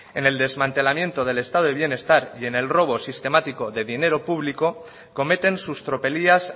en el desmantelamiento del estado de bienestar y en el robo sistemático de dinero público cometen sus tropelías